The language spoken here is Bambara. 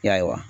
Ya